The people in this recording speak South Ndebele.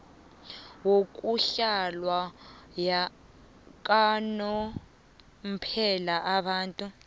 yokuhlala yakanomphela abantu